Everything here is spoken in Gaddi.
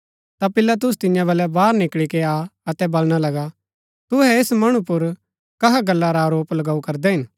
ता पिलातुस तियां बलै बाहर निकळी के आ अतै बलणा लगा तुहै ऐस मणु पुर कहा गल्ला रा आरोप लगाऊ करदै हिन